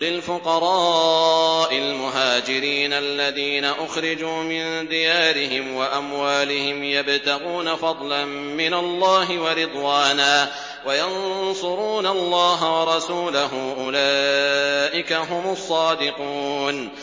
لِلْفُقَرَاءِ الْمُهَاجِرِينَ الَّذِينَ أُخْرِجُوا مِن دِيَارِهِمْ وَأَمْوَالِهِمْ يَبْتَغُونَ فَضْلًا مِّنَ اللَّهِ وَرِضْوَانًا وَيَنصُرُونَ اللَّهَ وَرَسُولَهُ ۚ أُولَٰئِكَ هُمُ الصَّادِقُونَ